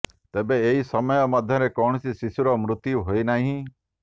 ତେବେ ଏହି ସମୟ ମଧ୍ୟରେ କୌଣସି ଶିଶୁର ମୃତ୍ୟୁ ହୋଇନାହିଁ